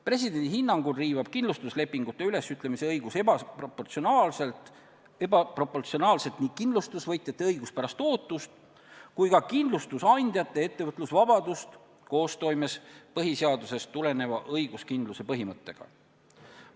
Presidendi hinnangul riivab kindlustuslepingute ülesütlemise õigus ebaproportsionaalselt nii kindlustusvõtjate õiguspärast ootust kui ka kindlustusandjate ettevõtlusvabadust koostoimes põhiseadusest tuleneva õiguskindluse põhimõttega.